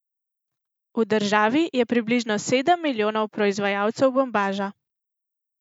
V državi je približno sedem milijonov proizvajalcev bombaža.